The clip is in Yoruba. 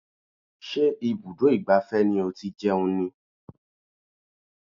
Ṣé ibùdó ìgbafẹ́ ni ó ti jẹun ni?